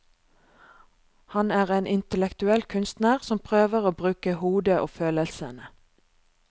Han er en intellektuell kunstner, som prøver å bruke hodet og følelsene.